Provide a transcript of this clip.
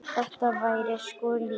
Þetta væri sko lífið.